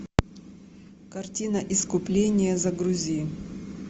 картина искупление загрузи